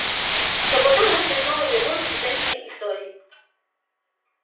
но потом мысли снова вернулись к женькиной истории